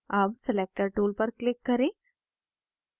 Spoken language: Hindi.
अब selector tool पर click करें